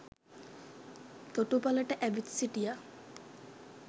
තොටුපළට ඇවිත් සිටියා